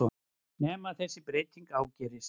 Nema þessi breyting ágerðist.